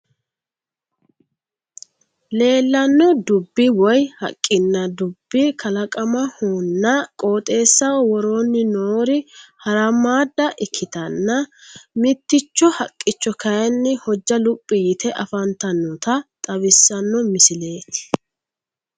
Leellanno dubb woy haqqinna dubbi kalaqamahonna qooxeessaho woroonni noori haramaadda ikkitanna mitticho haqqicho kaaynni hojja luphi yite afantannota xawissanno misileeti.